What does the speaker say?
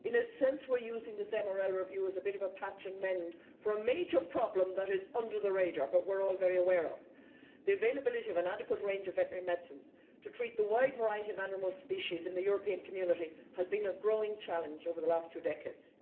In a sense we are using this MRL review as a bit of a patch and mend' for a major problem that is under the radar but which we are all very aware of. The availability of an adequate range of veterinary medicines to treat the wide variety of animal species in the European Community has been a growing challenge over the last two decades.